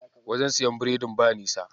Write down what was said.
Wajen siyan biredin ba nisa.